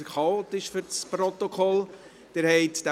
Jetzt wird es für das Protokoll chaotisch.